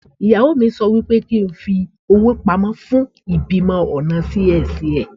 Ìyàwó mi sọ wípé kín fi owó pamọ́ fún ìbímọ ọ̀nà Sí-Ẹsì rẹ̀.